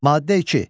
Maddə 2.